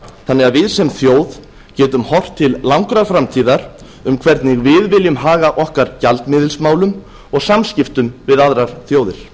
þannig að við sem þjóð getum haft til langrar framtíðar um hvernig við viljum haga okkar gjaldmiðilsmálum og samskiptum við aðrar þjóðir